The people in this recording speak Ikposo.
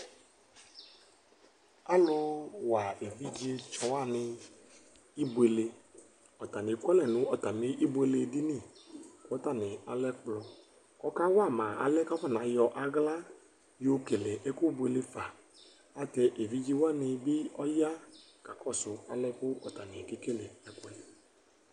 Alʋwa evidzetsɔ wanɩ ibuele Ɔtanɩ ekualɛ nʋ atamɩ ibueledini kʋ atanɩ alɛ ɛkplɔ kʋ ɔkawa ma alɛ kʋ afɔnayɔ aɣla yɔkele ɛkʋbuele fa Ayɛlʋtɛ evidze wanɩ bɩ ɔya kakɔsʋ alɛ kʋ ɔtanɩ kekele ɛkʋ yɛ